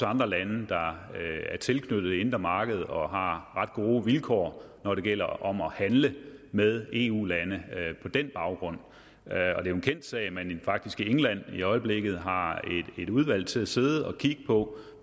andre lande der er tilknyttet det indre marked og har ret gode vilkår når det gælder om at handle med eu lande på den baggrund og er jo en kendt sag at man faktisk i england i øjeblikket har et udvalg til at sidde og kigge på